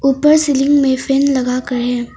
ऊपर सीलिंग में फैन लगाकर है।